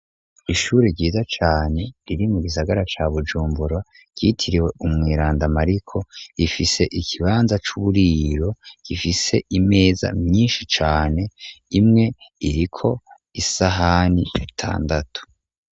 Ishuri ryiza cane riri mu gisagara ca bujumbura ryitiriwe umwirandamariko rifise igibanza c'uburiro gifise imeza myinshi cane imwe iriko isahani atandatu.